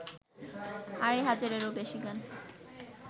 আড়াই হাজারেরও বেশি গান